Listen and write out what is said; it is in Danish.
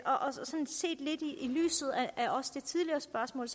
lyset af også det tidligere spørgsmål